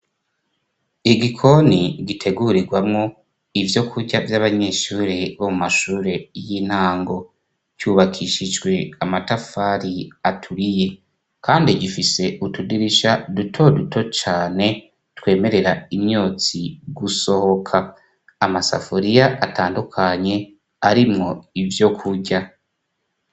Igikoni gitegurirwamo ivyo kurya vy'abanyeshuri bo mu mashure y'intango , cubakishijwe amatafari aturiye kandi gifise utudirisha dutoduto cane twemerera imyotsi gusohoka. Amasafuriya atandukanye arimwo ivyo kurya.